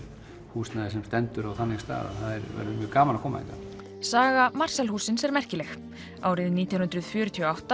húsnæði sem stendur á þannig stað það verður mjög gaman að koma hérna saga Marshall hússins er merkileg árið nítján hundruð fjörutíu og átta